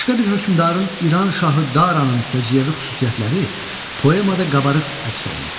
Başqa bir hökmdarın İran şahı Daranın səciyyəvi xüsusiyyətləri poemada qabarıq əks olunub.